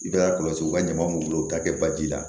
I bɛ taa kɔlɔsi u ka ɲama b'u bolo u bɛ taa kɛ baji la